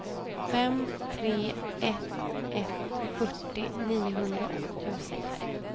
fem tre ett ett fyrtio niohundraåttiosex